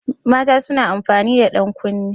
Mata suna amfani da ɗankunne.